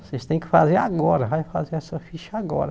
Vocês têm que fazer agora, vai fazer essa ficha agora.